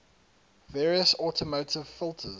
various automotive filters